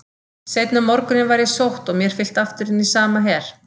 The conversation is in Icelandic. Seinna um morguninn var ég sótt og mér fylgt aftur inn í sama her